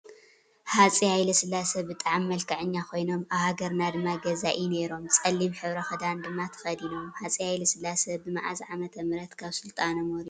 ሃፀይ ሃይለስላሴ ብጣዕሚ መልከዐኛ ኮይኖም ኣብ ሃገርና ድማ ገዛኢ ነይሮ። ፀሊም ሕብሪ ክዳን ድማ ተከዲኖም። ሃፀይ ሃይለስላሴ ብመዓዝ ዓመተ ምህረት ካብ ስልጣኖም ወሪዶም?